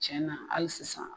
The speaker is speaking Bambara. Tiɲɛ na ali sisan